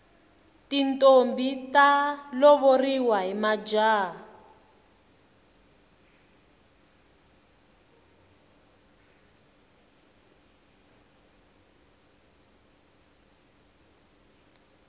tintombhi ta lovoriwa hi majaha